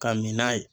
Ka min n'a ye